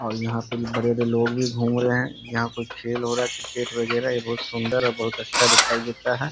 और यहाँ पर बड़े-बड़े लोग भी घूम रहे है यहाँ कोई खेल हो रहा है। क्रिकेट वगैरा ये बहुत सुन्दर और बहुत अच्छा दिखाई देता है।